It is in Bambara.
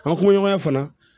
An kumaɲɔgɔnya fana